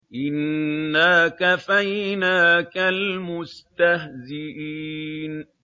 إِنَّا كَفَيْنَاكَ الْمُسْتَهْزِئِينَ